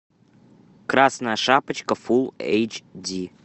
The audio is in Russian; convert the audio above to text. красная шапочка фул эйч ди